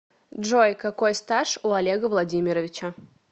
джой какой стаж у олега владимировича